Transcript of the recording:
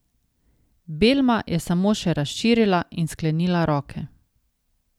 Belma je samo še razširila in sklenila roke.